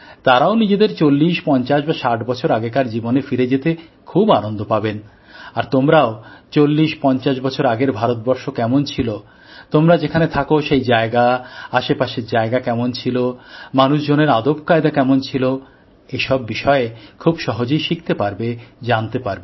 তারাও নিজেদের চল্লিশ পঞ্চাশ বা ষাট বছর আগেকার জীবনে ফিরে যেতে খুব আনন্দ পাবেন আর তোমরাও চল্লিশ পঞ্চাশ বছর আগের ভারতবর্ষ কেমন ছিল তোমরা যেখানে থাকো সেই জায়গা আশেপাশের জায়গা কেমন ছিল মানুষজনের আদবকায়দা কেমন ছিল এসব বিষয় খুব সহজেই শিখতে পারবে জানতে পারবে